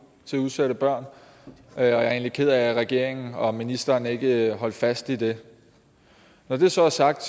til udsatte børn og jeg er egentlig ked af at regeringen og ministeren ikke holdt fast i det når det så er sagt